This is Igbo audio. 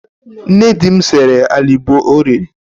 Nne di m sere alịbọ o riri.